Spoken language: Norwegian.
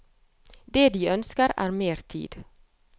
Det de ønsker er mer tid.